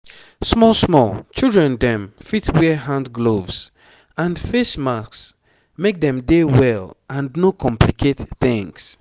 small small children dem fit wear hand gloves and face masks make dem dey well and no complicate tings